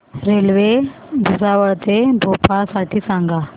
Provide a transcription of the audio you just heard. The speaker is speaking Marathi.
रेल्वे भुसावळ ते भोपाळ साठी सांगा